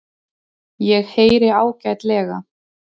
Ég heyri ágætlega.